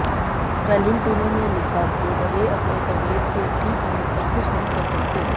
Valentino ने लिखा कि वे अपने तबियत के ठीक होने तक कुछ नहीं कर सकते